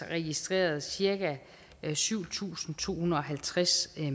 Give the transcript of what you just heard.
registreret cirka syv tusind to hundrede og halvtreds